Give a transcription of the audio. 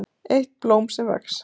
EITT BLÓM SEM VEX